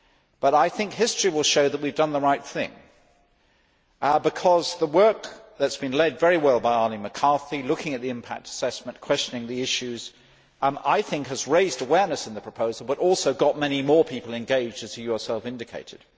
But I think history will show that we have done the right thing because the work that has been led very well by Arlene McCarthy looking at the impact assessment, questioning the issues has raised awareness in the proposal and has also got many more people engaged, as you yourself indicated.